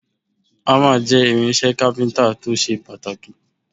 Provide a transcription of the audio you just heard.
Ámà jẹ́ irinṣẹ́ kápíntà tó ṣe pàtàkì